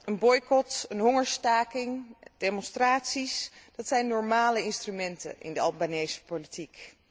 Een boycot, een hongerstaking, demonstraties, dat zijn normale instrumenten in de Albanese politiek.